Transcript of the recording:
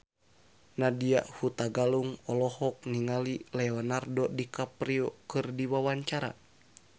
Nadya Hutagalung olohok ningali Leonardo DiCaprio keur diwawancara